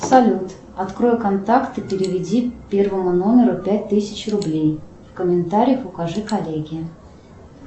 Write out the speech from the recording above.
салют открой контакты и переведи первому номеру пять тысяч рублей в комментариях укажи коллеге